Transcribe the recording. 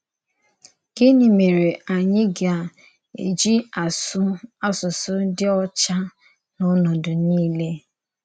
Gịnị mèré ányị gà-èjì àsụ̀ àsụsụ dì ọ́chà n’ọ̀nòdu niile?